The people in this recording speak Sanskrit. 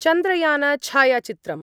चन्द्रयानछायाचित्रम्